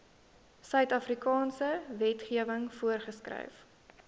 suidafrikaanse wetgewing voorgeskryf